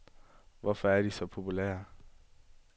Hvorfor er de så populære.